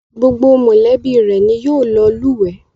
Gbogbo mọ̀lẹ́bí rẹ̀ ni yóò lọ lùwẹ́